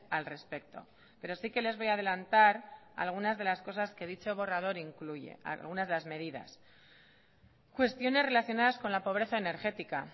al respecto pero sí que les voy a adelantar algunas de las cosas que dicho borrador incluye algunas de las medidas cuestiones relacionadas con la pobreza energética